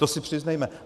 To si přiznejme.